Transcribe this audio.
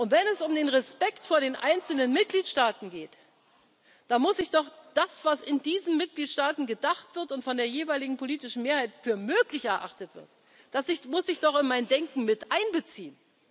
wird. Wenn es um den Respekt vor den einzelnen Mitgliedstaaten geht, da muss ich doch das, was in diesen Mitgliedstaaten gedacht wird und von der jeweiligen politischen Mehrheit für möglich erachtet wird, in mein Denken miteinbeziehen.